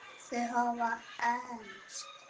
Þau hafa enst.